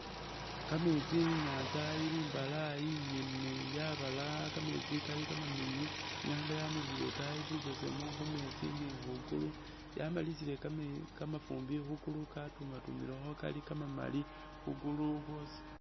Kameetsi inyanza ili imbalaayi ingene yabalaaya kameetsi kali kamamiliyu, inyanga yamulikhile itaayi bubesemu khumeetsi ne khwiguulu, yamalisile kamafuumbi khwiguulu katuma tumilekho kamamali, khwiguulu khwoosi